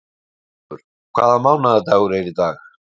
Guttormur, hvaða mánaðardagur er í dag?